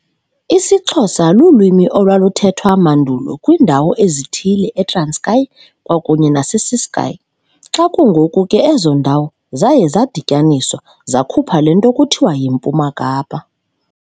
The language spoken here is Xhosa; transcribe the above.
IsiXhosa lulwimi olwaluthethwa mandulo kwindawo ezithile eTranskei kwakunye nase Ciskei, xa kungoku ke ezo ndawo zaye zadityaniswa zakhupha lento kuthiwa yiMpuma Kapa.